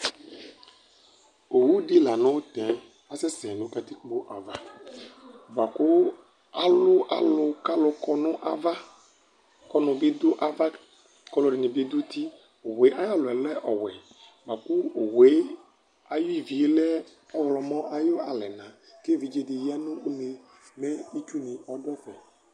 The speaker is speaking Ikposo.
Owu dɩ la nʋ tɛ asɛ sɛ nʋ katikpo ava, bʋakʋ alʋ alunɩ, kʋ alu kɔ nʋ ava, ɔnʋ bɩ dʋ ava, kʋ alu ɛdɩnɩ bɩ adu uti Owu yɛ ayʋ alɔ yɛ lɛ ɔwɛ Akʋ owu yɛ ayʋ ivi yɛ lɛ ɔɣlɔmɔ ayʋ alɛna, kʋ evidze dɩ ɔya nʋ une yɛMɛ itsu nɩ adu ɛfɛ